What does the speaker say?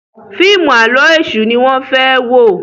fíìmù Àló̩ Èṣù ní wón fè wọ.